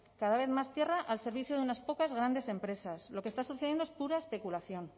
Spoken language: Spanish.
cada vez más tierra al servicio de unas pocas grandes empresas lo que está sucediendo es pura especulación